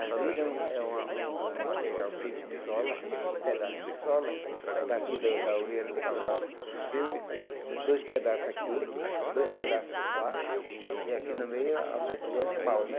As brides é um é uma é um é um material feito de sola, de pedaço de sola, daqui do da orelha do cavalo para o, dois pedaços aqui, dois pedaços por baixo, e aqui no meio a a boca do animal, né?